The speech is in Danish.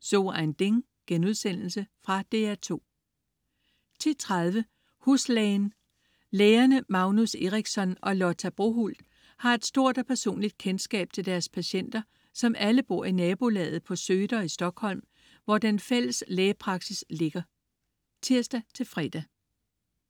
So ein Ding.* Fra DR2 10.30 Huslægen. Lægerne Magnus Eriksson og Lotta Brohult har et stort og personligt kendskab til deres patienter, som alle bor i nabolaget på Söder i Stockholm, hvor den fælles lægepraksis ligger (tirs-fre)